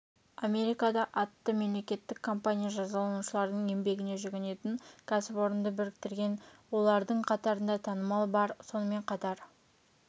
америкада атты мемлекеттік компания жазаланушылардың еңбегіне жүгінетін кәсіпорынды біріктірген олардың қатарында танымал бар сонымен қатар